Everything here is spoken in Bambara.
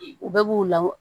U bɛɛ b'u la